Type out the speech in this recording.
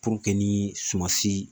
ni sumansi